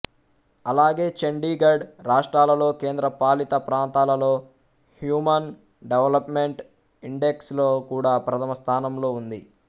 అలాగే చండీగఢ్ రాష్ట్రాలలో కేంద్రపాలిత ప్రాంతాలలో హ్యూమన్ డెవలెప్మెంట్ ఇండెక్స్ లో కూడా ప్రథమ స్థానంలో ఉంది